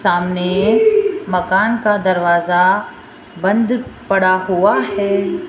सामने मकान का दरवाजा बंद पड़ा हुआ है।